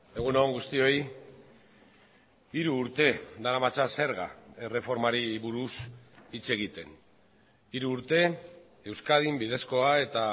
egun on guztioi hiru urte daramatza zerga erreformari buruz hitz egiten hiru urte euskadin bidezkoa eta